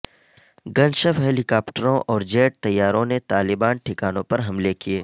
گن شپ ہیلی کاپٹروں اور جیٹ طیاروں نے طالبان ٹھکانوں پر حملے کیے